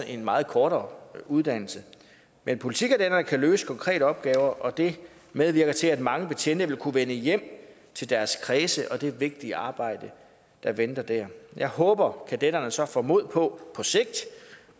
en meget kortere uddannelse men politikadetter kan løse konkrete opgaver og det medvirker til at mange betjente vil kunne vende hjem til deres kredse og det vigtige arbejde der venter der jeg håber at kadetterne så får mod på